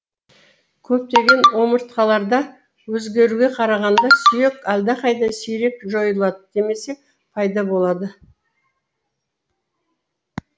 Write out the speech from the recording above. көптеген омыртқалыларда өзгеруге қарағанда сүйек әлдеқайда сирек жойылды немесе пайда болды